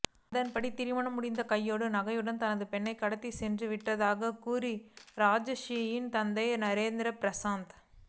அதன்படியே திருமணம் முடிந்த கையோடு நகைகளுடன் தனது பெண்ணை அவன் கடத்திச் சென்றுவிட்டதாகக் கூறுகிறார் ராஜஸ்ரீயின் தந்தை ராஜேந்திர பிரசாத்